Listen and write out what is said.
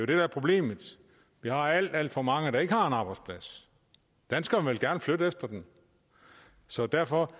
det der er problemet vi har alt alt for mange der ikke har en arbejdsplads danskerne vil gerne flytte efter dem så derfor